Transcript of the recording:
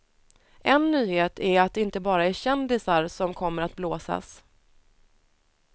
En nyhet är att det inte bara är kändisar som kommer att blåsas.